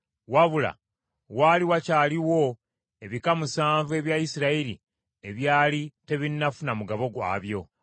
wabula waali wakyaliwo ebika musanvu ebya Isirayiri ebyali tebinnafuna mugabo gwabyo.